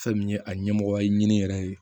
Fɛn min ye a ɲɛmɔgɔ ye nin yɛrɛ ye